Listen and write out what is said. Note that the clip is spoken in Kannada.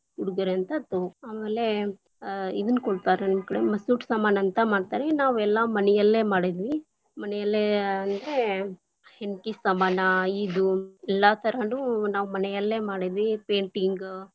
ಉಡುಗೊರೆ ಅಂತ ತೋ, ಆಮೇಲೆ ಆ ಇದನ್ನ ಕೊಡ್ತಾರ ನಮ್ಮಕಡೆ ಮಸೂಟ ಸಾಮಾನ ಅಂತ ಮಾಡ್ತಾರ ನಾವೆಲ್ಲ ಮನೆಯಲ್ಲೇ ಮಾಡಿದ್ವಿ, ಮನೆಯಲ್ಲೇ ಅಂದ್ರೆ ಹಿಂಕೀನ್ ಸಾಮಾನ ಇದ್ ಎಲ್ಲಾ ತರಾನು ನಾವು ಮನೆಯಲ್ಲೇ ಮಾಡಿದ್ವಿ, painting lang:Foreign.